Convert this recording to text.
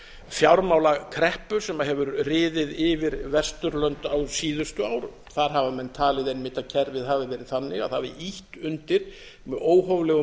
fjármálakreppu sem hefur riðið yfir vesturlönd á síðustu árum þar hafa menn talið einmitt að kerfið hafi verið þannig að það hafi ýtt undir með óhóflegum